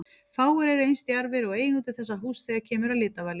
Fáir eru eins djarfir og eigendur þessa húss þegar kemur að litavali.